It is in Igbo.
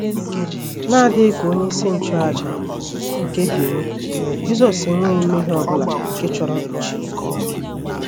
N’adịghị ka onyeisi nchụàjà nke Benin, Jisọs enweghị mmehie ọ bụla nke chọrọ mkpuchi.